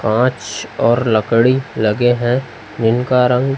कांच और लकड़ी लगे हैं जिनका रंग--